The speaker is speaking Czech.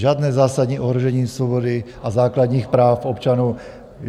Žádné zásadní ohrožení svobody a základních práv občanů.